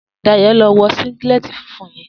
Dayo ló n wò síngìlètí fúnfún yèn